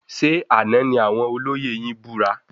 Ṣe àna ní àwọn olóyè yin búra?